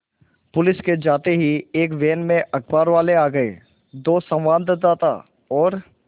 police के जाते ही एक वैन में अखबारवाले आ गए दो संवाददाता और